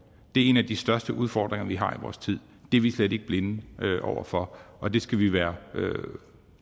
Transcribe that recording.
det er en af de største udfordringer vi har i vores tid det er vi slet ikke blinde over for og det skal vi være